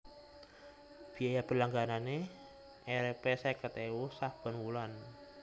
Biaya berlangganané Rp seket ewu saben wulan